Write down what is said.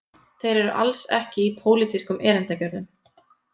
Þeir eru alls ekki í pólitískum erindagjörðum